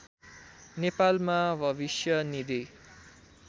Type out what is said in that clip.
नेपालमा भविष्य निधि